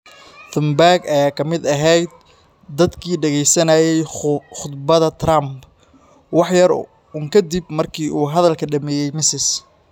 Thunberg ayaa ka mid ahayd dadkii dhegaysanayay khudbadda Trump, waxyar uun ka dib markii uu hadalka dhammeeyey, Ms.